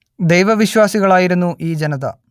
ദൈവ വിശ്വാസികൾ ആയിരുന്നു ഈ ജനത